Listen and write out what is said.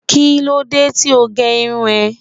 Kílódé tí o gé irun ẹ?